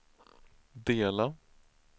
dela